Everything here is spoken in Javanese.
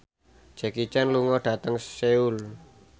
Jackie Chan lunga dhateng Seoul